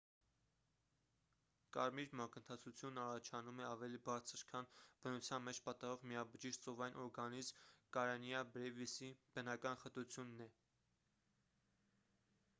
կարմիր մակընթացությունն առաջանում է ավելի բարձր քան բնության մեջ պատահող միաբջիջ ծովային օրգանիզմ կարենիա բրեվիսի բնական խտությունն է